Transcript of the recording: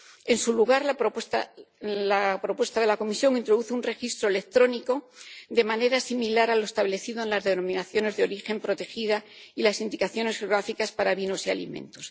En su lugar, la propuesta de la Comisión introduce un registro electrónico de manera similar a lo establecido en las denominaciones de origen protegidas y las indicaciones geográficas para vinos y alimentos.